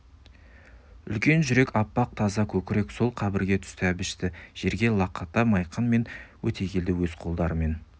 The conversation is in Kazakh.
үлкен жүрек аппақ таза көкірек сол қабірге түсті әбішті жерге лақатқа майқан мен өтегелді өз қолдарымен